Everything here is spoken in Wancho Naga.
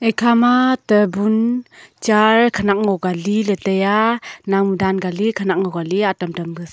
ekha ma table chaar khonak ngo kali le taiaa namle dan ka li khonak ngo kali atam tam sa.